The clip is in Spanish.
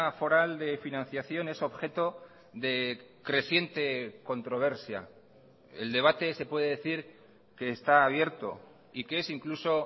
foral de financiación es objeto de creciente controversia el debate se puede decir que está abierto y que es incluso